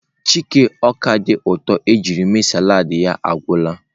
Chike ọka dị ụtọ ejiri mee salad ya agwụla.